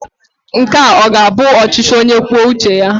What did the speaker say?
Nke a ọ ga-abụ ọchịchị onye kwuo uche ya?